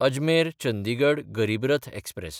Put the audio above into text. अजमेर–चंदिगड गरीब रथ एक्सप्रॅस